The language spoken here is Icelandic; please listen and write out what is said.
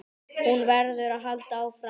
Hún verður að halda áfram.